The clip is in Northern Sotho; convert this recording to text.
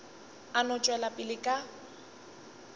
a no tšwela pele ka